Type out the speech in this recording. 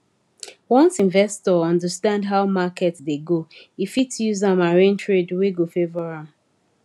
once investor understand how market dey go e fit use am arrange trade wey go favour am